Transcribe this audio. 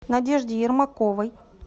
надежде ермаковой